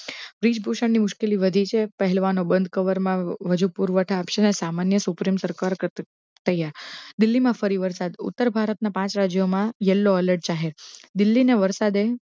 બ્રિજભૂશન ની મુશકિલો વધી છે પહેલવાનો બંધ ક્વર મા હજૂ પુરવઠઓ આપશે અને સમાન્ય સુપ્રિમ સરકાર દિલ્લી મા ફરી વરશાદ પાંચ રાજયો મા યેલ્લો અલૅટ જાહેર દિલ્લી ના વરસાદે